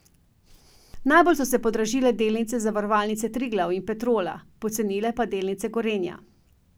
Najbolj so se podražile delnice Zavarovalnice Triglav in Petrola, pocenile pa delnice Gorenja.